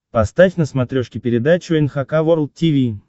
поставь на смотрешке передачу эн эйч кей волд ти ви